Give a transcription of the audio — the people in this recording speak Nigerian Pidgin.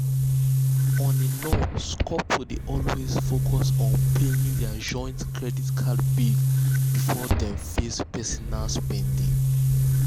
on a norms couples dey always focus on paying their joint credit card bill before dem face personal spending.